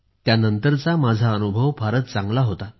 त्यानंतरचा माझा अनुभव फारच चांगला होता